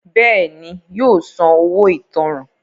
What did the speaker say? Bẹ́ẹ̀ni, yóò san “ owó ìtanràn ”.